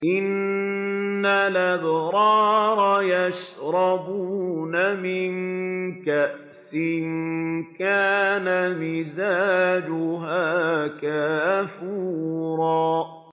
إِنَّ الْأَبْرَارَ يَشْرَبُونَ مِن كَأْسٍ كَانَ مِزَاجُهَا كَافُورًا